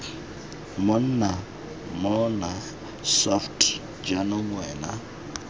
monna mmona soft jaanong wena